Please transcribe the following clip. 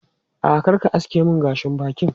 A'a, kar ka aske mun gashin bakin.